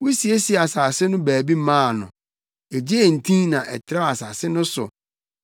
Wosiesiee asase no baabi maa no, egyee ntin na ɛtrɛw asase no so.